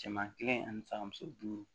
Cɛman kelen ani saba muso duuru